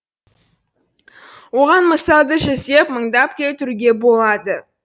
оған мысалды жүздеп мыңдап келтіруге болады